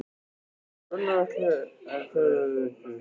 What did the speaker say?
Gunnar Atli: En hvað verður gert við þá fjármuni?